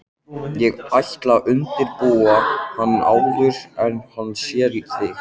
Ég ætla að undirbúa hann áður en hann sér þig